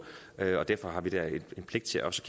derfor har vi da en pligt til også